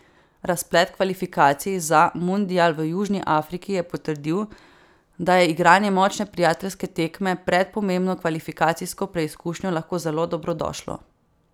Razplet kvalifikacij za mundial v Južni Afriki je potrdil, da je igranje močne prijateljske tekme pred pomembno kvalifikacijsko preizkušnjo lahko zelo dobrodošlo.